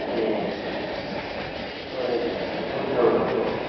ওই তোর রুদ্র~ রুদ্র।